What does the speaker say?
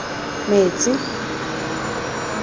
metsi